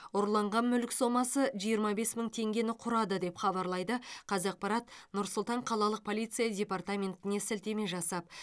ұрланған мүлік соммасы жиырма бес мың теңгені құрады деп хабарлайды қазақпарат нұр сұлтан қалалық полиция департаментіне сілтеме жасап